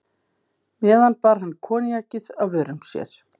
meðan bar hann koníakið að vörum sér.